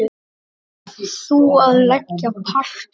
Þú að leggja parket.